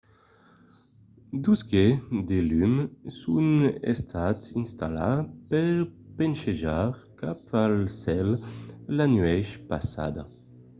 dos gets de lum son estats installats per ponchejar cap al cèl la nuèch passada